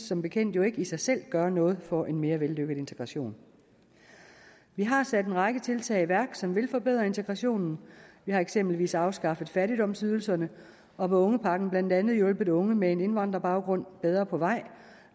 som bekendt ikke i sig selv gøre noget for en mere vellykket integration vi har sat en række tiltag i værk som vil forbedre integrationen vi har eksempelvis afskaffet fattigdomsydelserne og med ungepakken blandt andet hjulpet unge med indvandrerbaggrund bedre på vej